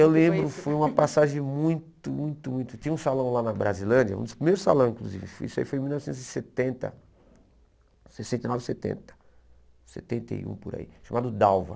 Eu lembro, foi uma passagem muito, muito, muito... Tinha um salão lá na Brasilândia, um dos primeiros salões, inclusive, isso aí foi em mil novecentos e setenta, sessenta e nove, setenta, setenta e um, por aí, chamado Dalva.